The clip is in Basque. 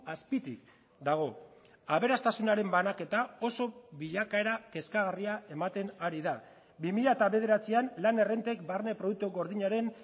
azpitik dago aberastasunaren banaketa oso bilakaera kezkagarria ematen ari da bi mila bederatzian lan errentek barne produktu gordinaren